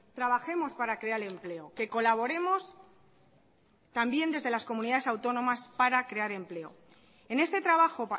trabajemos para crear empleo que colaboremos también desde las comunidades autónomas para crear empleo en este trabajo